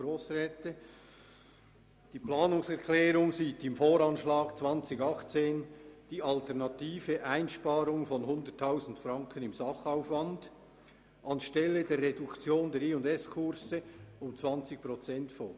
Die Planungserklärung sieht im VA 2018 die alternative Einsparung von 100 000 Franken im Sachaufwand anstelle der Reduktion der J+S-Kurse um 20 Prozent vor.